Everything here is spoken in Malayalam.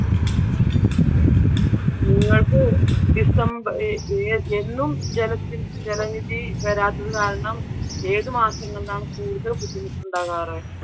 നിങ്ങക്ക് december എന്നും ജലനിധി വരാത്തത് കാരണം ഏതു മാസങ്ങളിലാണ് കൂടുതൽ ബുദ്ധിമുട്ടുണ്ടാകാറ്?